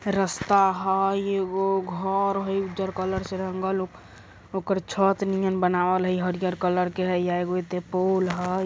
रस्ता हय एगो घर हय उज्जर कलर से रंगल ओकर छत नियन बनावल हय हरियर कलर के हे ये एगो ऐता पुल हय।